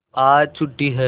आज छुट्टी है